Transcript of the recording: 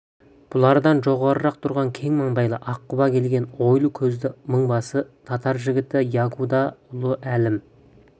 бұлардан жоғарырақ тұрған кең маңдайлы ақ құба келген ойлы көзді мыңбасы татар жігіті ягуда ұлы әлім